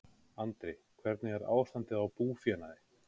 Andri: Hvernig er ástandið á búfénaði?